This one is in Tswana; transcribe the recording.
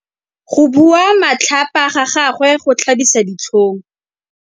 Go bua matlhapa ga gagwe go tlhabisa ditlhong.